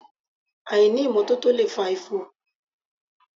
Àìní ìmọ́tótó lè fa ifo